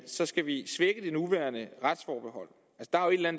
så skal vi svække det nuværende retsforbehold